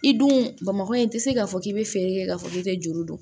I dun bamakɔ in i tɛ se k'a fɔ k'i bɛ feere kɛ k'a fɔ k'i tɛ juru dɔn